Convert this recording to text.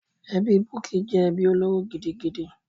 Ẹbí Bukky jẹ́ ẹbí olóró gidigidi.